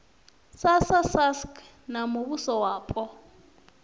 srsa sasc na muvhuso wapo